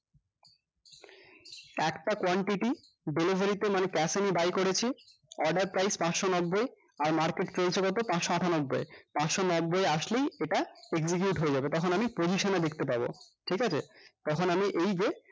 একটা quantity delivery তে মানে cash on এ buy করেছি order price পাঁচশ নব্বই আর market রয়েছে কত পাঁচশ আটানব্বই এ পাঁচশ নব্বই এ আসলেই এটা execute হয়ে যাবে তখন আমি position এ দেখতে পাবো ঠিকাছে তখন আমি এইযে